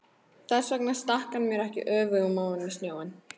Þess vegna stakk hann mér ekki öfugum ofan í snjóinn.